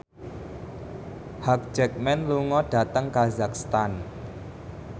Hugh Jackman lunga dhateng kazakhstan